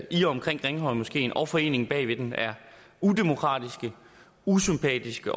i og omkring grimhøjmoskeen og foreningen bag den er udemokratiske usympatiske